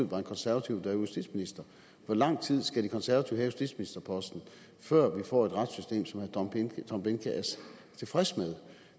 var en konservativ justitsminister hvor lang tid skal de konservative have justitsministerposten før vi får et retssystem som herre tom behnke er tilfreds med